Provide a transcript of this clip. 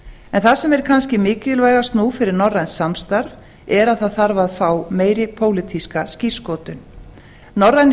en það sem er kannski mikilvægast nú fyrir norrænt samstarf er að það þarf að fá meiri pólitíska skírskotun norrænir